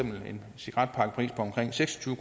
en cigaretpakkepris på omkring seks og tyve